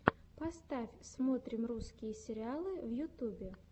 поставь смотрим русские сериалы в ютубе